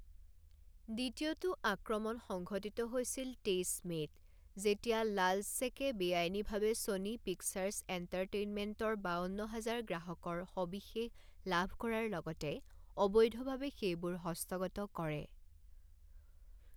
দ্বিতীয়টো আক্ৰমণ সংঘটিত হৈছিল তেইছ মে'ত, যেতিয়া লাল্জছেকে বেআইনীভাৱে ছনী পিকচাৰ্ছ এণ্টাৰটেইনমেণ্টৰ বাৱন্ন হাজাৰ গ্ৰাহকৰ সবিশেষ লাভ কৰাৰ লগতে অবৈধভাৱে সেইবোৰ হস্তগত কৰে।